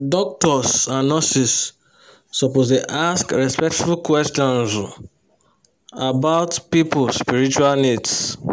doctors and nurses suppose dey ask respectful questions um about people spiritual needs.